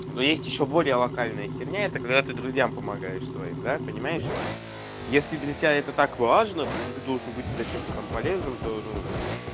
ну есть ещё более локальная херня это когда ты друзьям помогаешь своим да понимаешь если для тебя это так важно то что ты должен быть зачем то там полезным то ну